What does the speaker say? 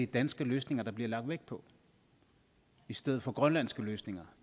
danske løsninger der bliver lagt vægt på i stedet for grønlandske løsninger